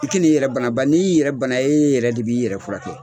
I k'i n'i yɛrɛ bana bari ni yɛrɛ bana e yɛrɛ de bi i yɛrɛ furakɛ.